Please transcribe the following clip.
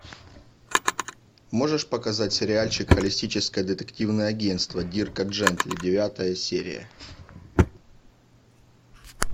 можешь показать сериальчик холистическое детективное агентство дирка джентли девятая серия